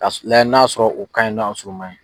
K'a sugu lajɛ n'a sɔrɔ u ka ɲin n'o ma ɲin.